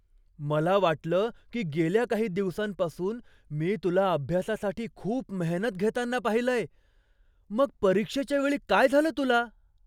मला वाटलं की गेल्या काही दिवसांपासून मी तुला अभ्यासासाठी खूप मेहनत घेताना पाहिलंय. मग परीक्षेच्या वेळी काय झालं तुला?